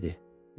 Cinni dedi.